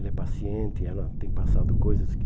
Ela é paciente, ela tem passado coisas que...